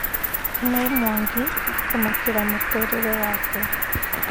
Kamau mwangi kũmakĩra mũtũrĩre wake